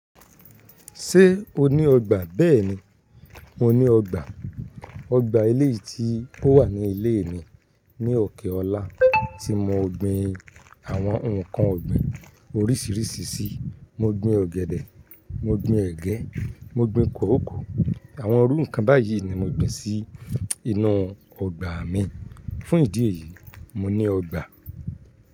Ṣé o ní ọgbà? Bẹ́ẹ̀ni, mo ní ọgbà. Ọgbà ilé yìí tí ó wà ní ilé mi. Ni òkè ọ̀la tí mo gbin àwọn ǹkan ọ̀gbìn oríṣiríṣi sí, mo gbin ọ̀gẹ̀dẹ̀, mo gbin ẹgẹ, mo gbin kòókòó. Àwọn orúkọ báyìí ni mo gbin sí inú ọgbà mi. Fún ìdí èyí, mo ní ọgbà.